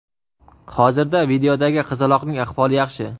hozirda videodagi qizaloqning ahvoli yaxshi.